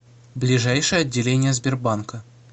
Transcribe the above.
ближайшее отделение сбербанка